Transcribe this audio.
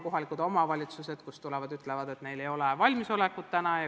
Kohalikud omavalitsused ütlevad, et neil ei ole selleks praegu valmisolekut.